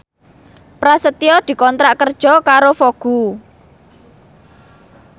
Prasetyo dikontrak kerja karo Vogue